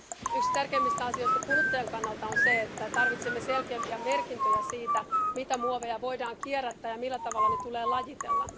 Yksi tärkeimmistä asioista kuluttajan kannalta on se, että tarvitsemme selkeämpiä merkintöjä siitä, mitä muoveja voidaan kierrättää ja millä tavalla ne tulee lajitella.